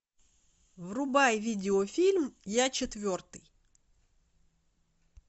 врубай видеофильм я четвертый